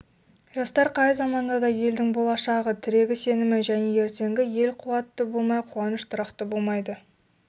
жастар қай заманда да елдің болашағы тірегі сенімі және ертеңі ел қуатты болмай қуаныш тұрақты болмайды